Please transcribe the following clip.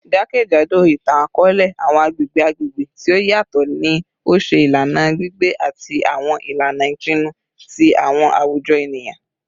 Jakejado itan-akọọlẹ, awọn agbegbe agbegbe ti o yatọ ni o ṣe ilana gbigbe ati awọn ilana ipinnu ti awọn awujọ eniyan.